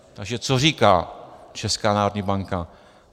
- Takže co říká Česká národní banka?